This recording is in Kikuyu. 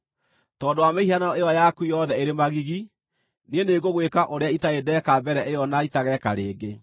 Tondũ wa mĩhianano ĩyo yaku yothe ĩrĩ magigi, niĩ nĩngũgwĩka ũrĩa itarĩ ndeeka mbere ĩyo na itageeka rĩngĩ.